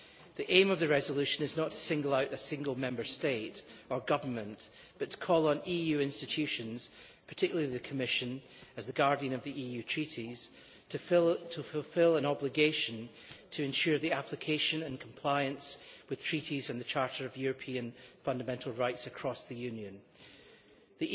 The aim of the resolution is not to single out a single Member State or government but to call on EU institutions, particularly the Commission as the guardian of the EU Treaties, to fulfil an obligation to ensure the application of and compliance with the Treaties and the Charter of Fundamental Rights of the EU, across the Union.